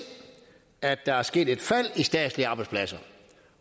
at der er sket et fald i statslige arbejdspladser